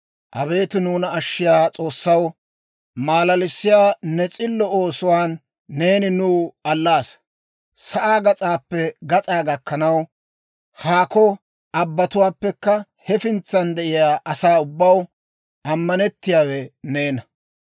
Abeet nuuna ashshiyaa S'oossaw, maalalissiyaa ne s'illo oosuwaan neeni nuw allaasa. Sa'aa gas'aappe gas'aa gakkanaw, haakko abbatuwaappekka hefintsan de'iyaa asaa ubbaw, ammanettiyaawe neena.